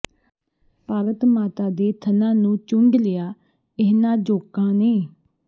ਭਾਰਤ ਮਾਤਾ ਦੇ ਥਣਾਂ ਨੂੰ ਚੂੰਡ ਲਿਆ ਇਹਨਾਂ ਜੋਕਾਂ ਨੇ